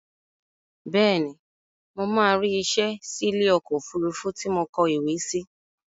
Bẹ́ẹ̀ni, mo máa rí isẹ́ sí ilé ọkọ̀ òfurufú tí mo kọ ìwé sí